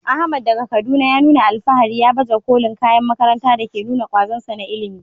Ahmad, daga Kaduna, ya nuna alfahari ya baje kolin kayan makaranta da ke nuna kwazonsa na ilimi.